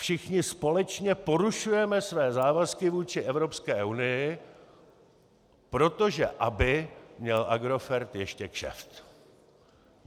Všichni společně porušujeme své závazky vůči Evropské unii proto, aby měl Agrofert ještě kšeft.